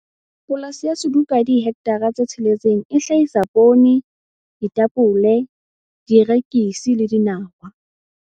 Polasi ya Suduka ya dihekthara tse tsheletseng e hlahisa poone, ditapole, dierekisi le dinawa.